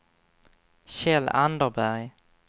Kjell Anderberg